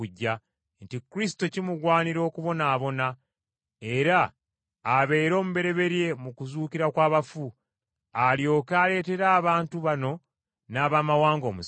nti Kristo kimugwanira okubonaabona, era abeere omubereberye mu kuzuukira kw’abafu, alyoke aleetere abantu bano n’Abamawanga omusana.”